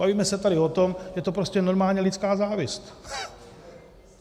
Bavíme se tady o tom, je to prostě normálně lidská závist.